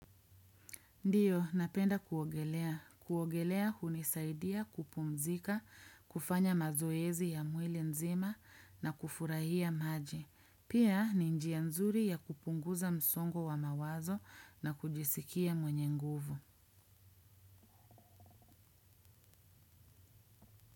Ndiyo, napenda kuogelea. Kuogelea hunisaidia kupumzika, kufanya mazoezi ya mwili nzima na kufurahia maji. Pia, ni njia nzuri ya kupunguza msongo wa mawazo na kujisikia mwenye nguvu.